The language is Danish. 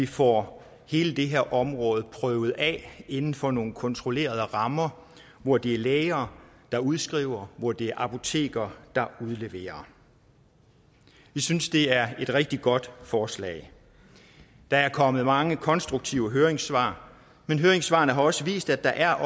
få hele det her område prøvet af inden for nogle kontrollerede rammer hvor det er læger der udskriver og hvor det er apotekere der udleverer vi synes det er et rigtig godt forslag der er kommet mange konstruktive høringssvar men høringssvarene har også vist at der er